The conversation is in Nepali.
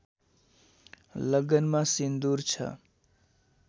लगनमा सिन्दूर छ